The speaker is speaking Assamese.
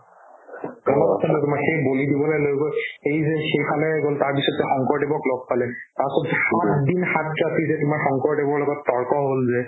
মনত আছে নহয় তোমাৰ সেই বলি দিবলে লৈ গৈ এই যে সেই ফালে গ'ল তাৰপিছত তেওঁ শংকৰদেৱক লগ পালে তাৰপিছত সাত আঠ দিন সাত ৰাতি যে তোমাৰ শংকৰদেৱৰ লগত তৰ্ক হ'ল যে